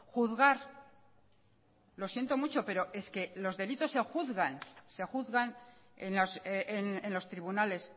juzgar lo siento mucho pero es que los delitos se juzgan se juzgan en los tribunales